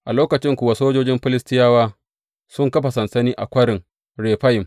A lokacin kuwa sojojin Filistiyawa sun kafa sansani a Kwarin Refayim.